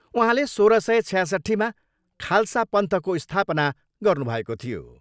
उहाँले सोह्र सय छयासट्ठीमा खलसा पन्थको स्थापना गर्नुभएको थियो।